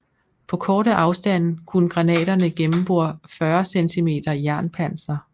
På korte afstande kunne granaterne gennembore 40 cm jernpanser